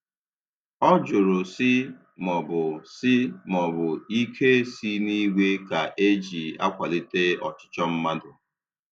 Ọ jụrụ sị maọbụ sị maọbụ ike si n'igwe ka eji akwalite ọchịchọ mmadụ.